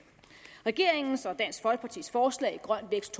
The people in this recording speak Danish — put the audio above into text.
regeringens og dansk folkepartis forslag i grøn vækst